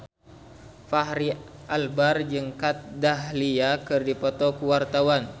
Fachri Albar jeung Kat Dahlia keur dipoto ku wartawan